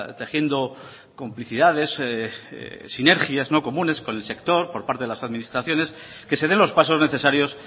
tejiendo complicidades sinergias no comunes con el sector por parte de las administraciones que se den los pasos necesarios